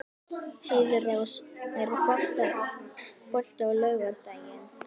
Heiðrós, er bolti á laugardaginn?